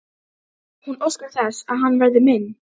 Hún óskar þess að hann verði minn.